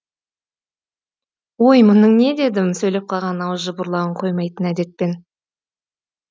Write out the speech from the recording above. ой мұның не дедім сөйлеп қалған ауыз жыбырлауын қоймайтын әдетпен